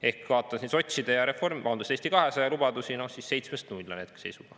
Ehk kui vaadata sotside ja Eesti 200 lubadusi, siis seitsmest null on hetke seis.